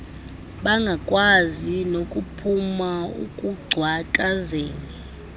bangakwazi nokuphuma ekungcakazeni